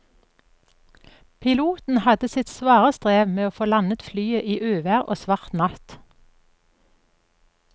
Piloten hadde sitt svare strev med å få landet flyet i uvær og svart natt.